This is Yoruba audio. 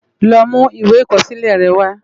Lò mú iwé ikòsilè rè wá